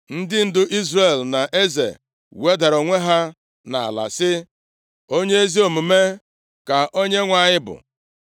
Ndị ndu Izrel na eze wedara onwe ha nʼala sị, “Onye ezi omume ka Onyenwe anyị bụ.”